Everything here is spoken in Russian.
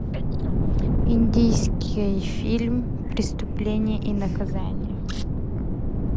индийский фильм преступление и наказание